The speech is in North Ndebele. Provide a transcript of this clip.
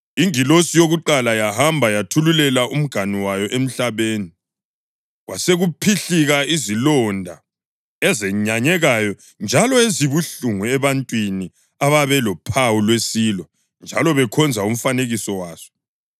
Ingilosi yakuqala yahamba yathululela umganu wayo emhlabeni kwasekuphihlika izilonda ezenyanyekayo njalo ezibuhlungu ebantwini ababelophawu lwesilo njalo bekhonza umfanekiso waso.